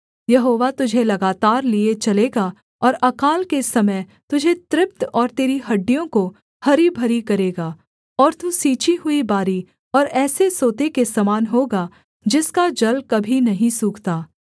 यहोवा तुझे लगातार लिए चलेगा और अकाल के समय तुझे तृप्त और तेरी हड्डियों को हरी भरी करेगा और तू सींची हुई बारी और ऐसे सोते के समान होगा जिसका जल कभी नहीं सूखता